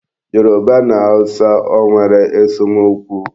Yoruba na Hausa ọ nwere esomokwu?